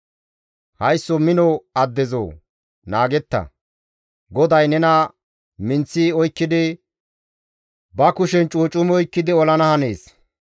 Haysso mino addezoo! Naagetta; GODAY nena minththi oykkidi ba kushen cuucumi oykkidi olana hanees.